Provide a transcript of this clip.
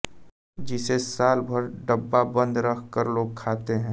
जिसे सालभर डब्बाबंद रख कर लोग खाते हैं